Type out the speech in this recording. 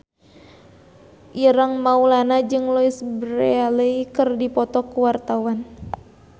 Ireng Maulana jeung Louise Brealey keur dipoto ku wartawan